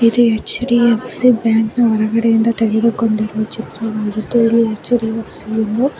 ಇದು ಹೆಚ್_ಡಿ_ಎಫ್_ಸಿ ಬ್ಯಾಂಕ್ ನ ಹೊರಗಡೆ ತೆಗೆದ ಚಿತ್ರವಾಗಿದ್ದು ಇಲ್ಲಿ ಎಚ್_ಡಿ_ಎಫ್_ಸಿ ಎಂದು--